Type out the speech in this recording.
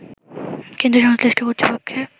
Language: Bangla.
কিন্তু সংশ্লিষ্ট কর্তৃপক্ষের